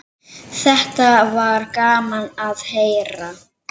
Þetta var gaman að heyra.